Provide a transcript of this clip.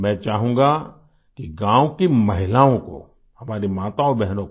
मैं चाहूँगा कि गाँव की महिलाओं को हमारी माताओंबहनों को